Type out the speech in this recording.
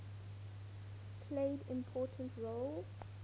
played important roles